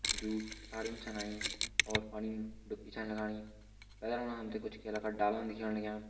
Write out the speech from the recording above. जु साड़िम छन आयीं और पणिम दुप्की छन लगणी पैथर फणा हमते कुछ केला का डालान दिख्याण लाग्यां।